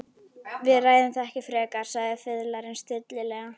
Við ræðum það ekki frekar, sagði fiðlarinn stillilega.